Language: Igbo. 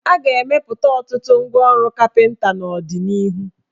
A ga-emepụta ọtụtụ ngwaọrụ kapịnta n' ọdịnihu.